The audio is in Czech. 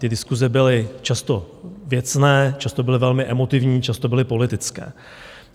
Ty diskuse byly často věcné, často byly velmi emotivní, často byly politické.